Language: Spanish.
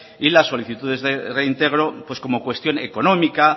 y la solicitudes de reintegro pues como cuestión económica